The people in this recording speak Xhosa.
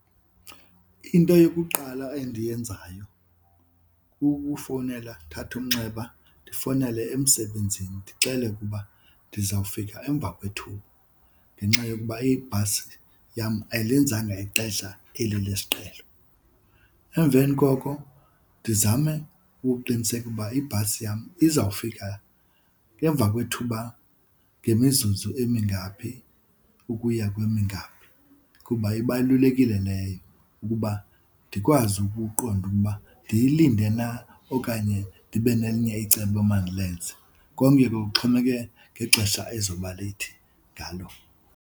Into yokuqala endiyenzayo kukufowunela ndithathe umnxeba ndifowunele emsebenzini ndixele ukuba ndizawufika emva kwethuba ngenxa yokuba ibhasi yam ayilenzanga ixesha eli lesiqhelo. Emveni koko ndizame ukuqiniseka uba ibhasi yam izawufika emva kwethuba ngemizuzu emingaphi ukuya kwemingaphi kuba ibalulekile leyo ukuba ndikwazi ukuqonda uba ndiyilinde na okanye ndibe nelinye icebo emandilenze. Konke ke kuxhomeke ngexesha ezoba leyithi ngalo.